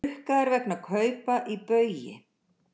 Rukkaðir vegna kaupa í Baugi